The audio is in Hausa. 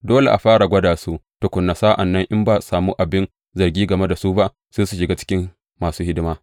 Dole a fara gwada su tukuna; sa’an nan in ba a sami wani abin zargi game da su ba, sai su shiga aikin masu hidima.